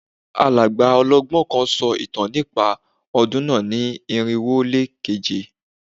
Alàgbà ọlọ́gbọ́n kan sọ ìtàn nípa ọdún náà ní irinwo ó lé keje